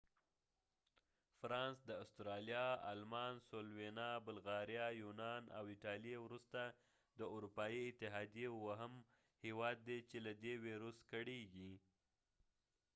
فرانس د استرالیا آلمان سلووینا بلغاریا یونان او ایټالېې وروسته د اروپایی اتحادیې اووهم هیواد دې چې له دې ویروس کړیږي